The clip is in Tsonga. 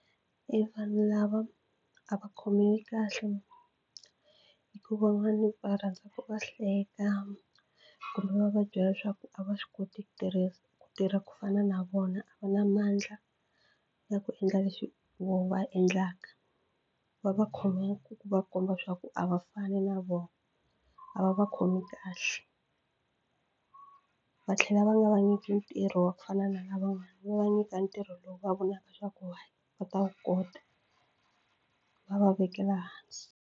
I vanhu lava a va khomiwi kahle hikuva van'wani va rhandzaka va hleka kumbe va va byela leswaku a va swi koti ku tirhisa ku tirha ku fana na vona a va na mandla ya ku endla leswi voho va endlaka va va khomiwa ku va komba swa ku a va fani na vona a va va khomi kahle va tlhela va nga va nyiki ntirho wa ku fana na lavan'wana va va nyika ntirho lowu va vonaka swa ku va ta wu kota va va vekela hansi.